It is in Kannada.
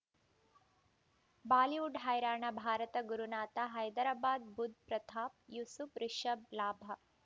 ಬಾಲಿವುಡ್ ಹೈರಾಣ ಭಾರತ ಗುರುನಾಥ ಹೈದರಾಬಾದ್ ಬುಧ್ ಪ್ರತಾಪ್ ಯೂಸುಫ್ ರಿಷಬ್ ಲಾಭ